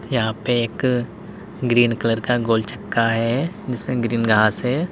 यहां पे एक ग्रीन कलर का गोल चक्का है जिसमें ग्रीन घास है।